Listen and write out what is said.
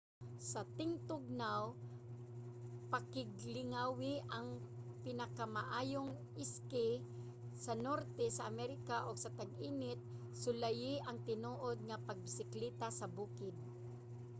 sa tingtugnaw pakiglingawi ang pinakamaayong ski sa norte sa america ug sa tag-init sulayi ang tinuod nga pagbisikleta sa bukid